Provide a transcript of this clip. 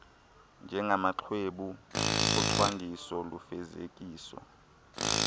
njengamaxwebhu ocwangciso lufezekiso